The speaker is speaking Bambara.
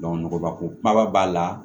nɔgɔbako kumaba b'a la